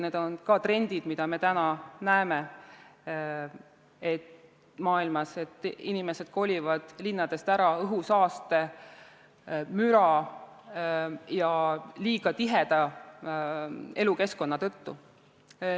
Need on ka trendid, mida me näeme mujal maailmas, et inimesed kolivad linnast ära õhusaaste, müra ja liiga tiheda elukeskkonna tõttu.